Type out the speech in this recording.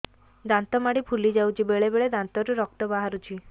ଦାନ୍ତ ମାଢ଼ି ଫୁଲି ଯାଉଛି ବେଳେବେଳେ ଦାନ୍ତରୁ ରକ୍ତ ବାହାରୁଛି